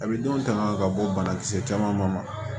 A bɛ denw tanga ka bɔ banakisɛ caman ma